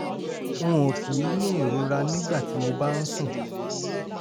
n ò kì í ní ìrora nígbà tí mo bá ń sùn